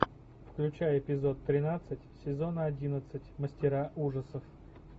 включай эпизод тринадцать сезона одиннадцать мастера ужасов